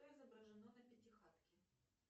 что изображено на пятихатке